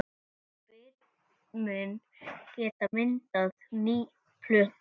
Brumin geta myndað nýja plöntu.